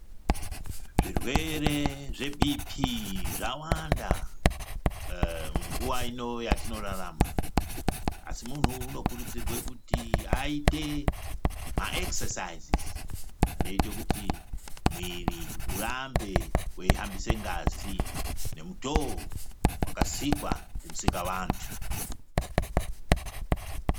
Zvirwere zvebp zvawanda munguva ino yatinorarama. Asi muntu unokurudzirwe kuti aite maekisesaizizi anoite kuti mwiri urambe veihambise ngazi, nemutoo vakasikwa ndiMusikavantu.